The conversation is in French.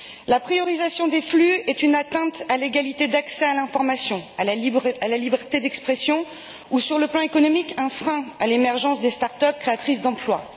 La priorisation des flux est une atteinte à l'égalité d'accès à l'information, à la liberté d'expression ou, sur le plan économique, un frein à l'émergence des start up créatrices d'emplois.